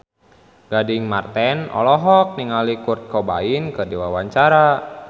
Gading Marten olohok ningali Kurt Cobain keur diwawancara